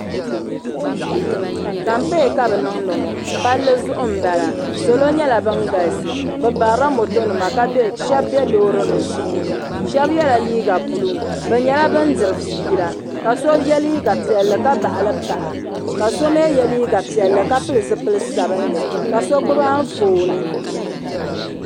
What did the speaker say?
kampeen ka bi niŋdi ŋɔ palli zuɣu n bɔŋɔ salo nyɛla bin galisi bi barila moto nima ka shab bɛ loori nim puuni shab yɛla liiga buluu bi nyɛla bin diri fiila ka so yɛ liiga piɛlli ka baɣali paɣa ka so mii yɛ liiga piɛlli ka pili zipili sabinli ka so gbubi Anfooni